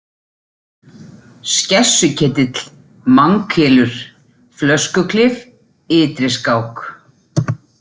Skessuketill, Manghylur, Flöskuklif, Ytriskák